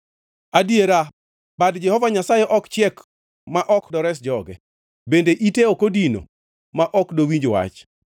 Adiera bad Jehova Nyasaye ok chiek ma ok dores joge, bende ite ok odino ma ok dowinj wach.